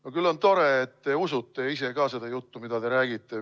No küll on tore, et te ise usute ka seda juttu, mida te räägite.